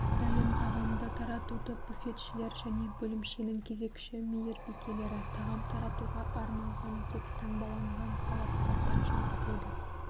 дайын тағамды таратуды буфетшілер және бөлімшенің кезекші мейірбикелері тағам таратуға арналған деп таңбаланған халаттарда жүргізеді